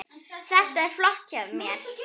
Þetta var flott hjá mér.